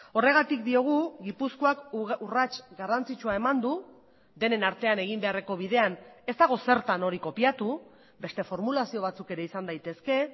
horregatik diogu gipuzkoak urrats garrantzitsua eman du denen artean egin beharreko bidean ez dago zertan hori kopiatu beste formulazio batzuk ere izan daitezke